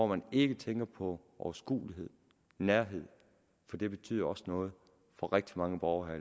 man ikke tænker på overskuelighed nærhed for det betyder også noget for rigtig mange borgere